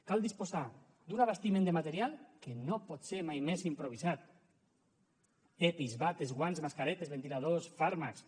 cal disposar d’un abastiment de material que no pot ser mai més improvisat epis bates guants mascaretes ventiladors fàrmacs